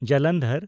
Jalandhar